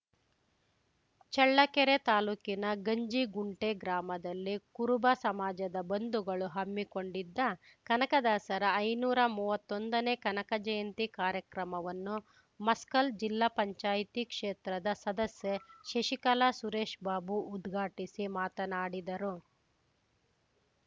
ಚಳ್ಳಕೆರೆ ತಾಲೂಕಿನ ಗಂಜಿಗುಂಟೆ ಗ್ರಾಮದಲ್ಲಿ ಕುರುಬ ಸಮಾಜದ ಬಂಧುಗಳು ಹಮ್ಮಿಕೊಂಡಿದ್ದ ಕನಕದಾಸರ ಐನೂರಾ ಮೂವತ್ತೊಂದನೇ ಕನಕ ಜಯಂತಿ ಕಾರ್ಯಕ್ರಮವನ್ನು ಮಸ್ಕಲ್‌ ಜಿಲ್ಲಾ ಪಂಚಾಯಿತಿ ಕ್ಷೇತ್ರದ ಸದಸ್ಯೆ ಶಶಿಕಲಾಸುರೇಶ್‌ಬಾಬು ಉದ್ಘಾಟಿಸಿ ಮಾತನಾಡಿದರು